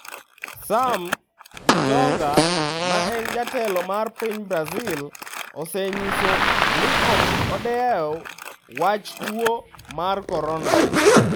Sam gitonga ma en jatelo mar piny Brazil, osenyiso ni ok odew wach tuo mar korona.